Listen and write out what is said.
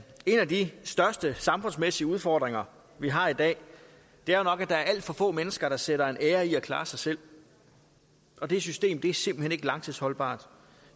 af de største samfundsmæssige udfordringer vi har i dag er jo nok at der er alt for få mennesker der sætter en ære i at klare sig selv det system er simpelt hen ikke langtidsholdbart